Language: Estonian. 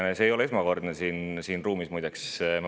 See ei ole esmakordselt siin ruumis nii, muideks.